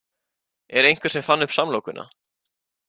Er einhver sem fann upp samlokuna?